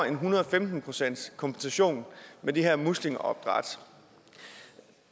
en hundrede og femten procent kompensation med de her muslingeopdræt